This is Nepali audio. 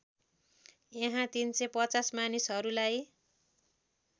यहाँ ३५० मानिसहरूलाई